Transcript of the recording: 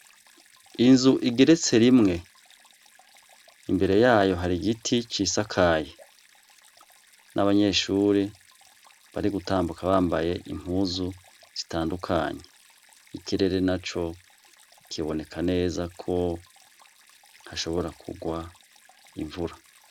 Inzu igeretse rimwe, imbere yayo hari igiti c’isakaye nabanyeshure bari gutambuka bambaye impuzu zitandukanye, ikirere naco kiboneka neza ko hashobora kugwa imvura.